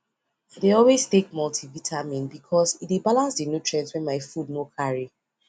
i dey always take multivitamin because e dey balance the nutrients wey my food no carry